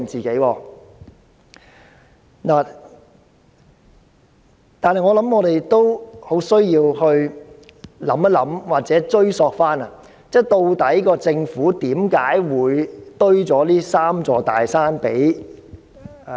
不過，我們也要思考或追索，政府為何會為香港人堆了這"三座大山"？